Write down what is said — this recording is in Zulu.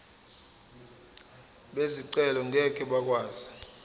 bezicelo ngeke bakwazi